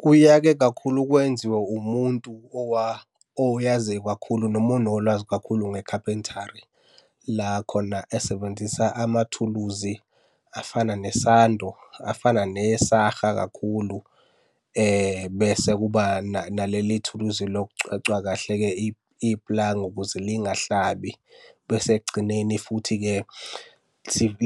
Kuya-ke kakhulu kwenziwe umuntu oyaziyo kakhulu, noma onolwazi kakhulu nge-carpentry. La khona esebenzisa amathuluzi afana nesando, afana nesaha kakhulu, bese kuba naleli thuluzi lokucwecwa kahle-ke ipulangwe ukuze lingahlabi. Bese ekugcineni futhi-ke